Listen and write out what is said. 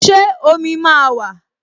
Ṣé omi máa wà?